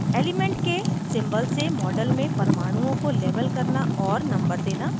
* element के symbol से model में परमाणुओं को label करना और number देना